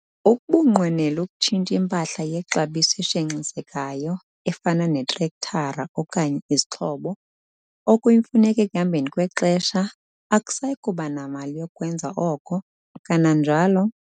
Ukuba unqwenela ukutshintsha impahla yexabiso eshenxisekayo efana netrektara okanye izixhobo, okuyimfuneko ekuhambeni kwexesha, akusayi kuba namali yokukwenza oko, kananjalo